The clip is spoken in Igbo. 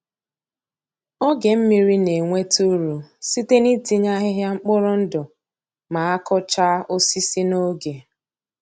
Oge mmiri na-enweta uru site n'itinye ahịhịa mkpụrụ ndụ ma a kụchaa osisi n'oge.